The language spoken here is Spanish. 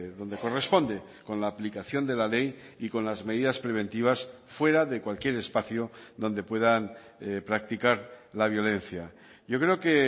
donde corresponde con la aplicación de la ley y con las medidas preventivas fuera de cualquier espacio donde puedan practicar la violencia yo creo que